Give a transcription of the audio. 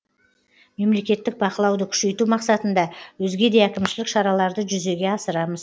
мемлекеттік бақылауды күшейту мақсатында өзге де әкімшілік шараларды жүзеге асырамыз